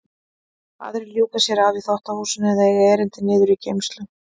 Aðrir ljúka sér af í þvottahúsinu eða eiga erindi niður í geymslu.